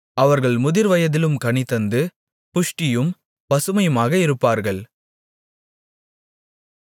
அவர்கள் முதிர்வயதிலும் கனிதந்து புஷ்டியும் பசுமையுமாக இருப்பார்கள்